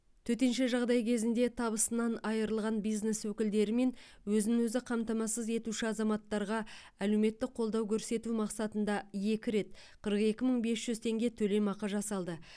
төтенше жағдай кезінде табысынан айырылған бизнес өкілдері мен өзін өзі қамтамасыз етуші азаматтарға әлеуметтік қолдау көрсету мақсатында екі рет қырық екі мың бес жүз теңге төлемақы жасалды